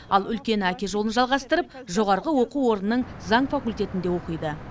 ал үлкені әке жолын жалғастырып жоғарғы оқу орнының заң факультетінде оқиды